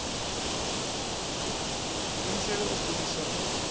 ḓi imisela u gudiswa u